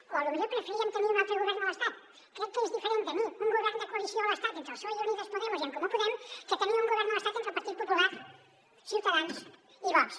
o potser preferiríem tenir hi un altre govern a l’estat crec que és diferent tenir un govern de coalició a l’estat entre el psoe i unidos podemos i en comú podem que tenir un govern a l’estat entre el partit popular ciutadans i vox